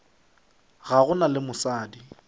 ga go na le mosadi